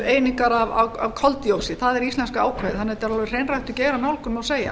einingar af koldyoxíð það er íslenska ákvæðið þannig að þetta er alveg hreinræktuð geiranálgun má segja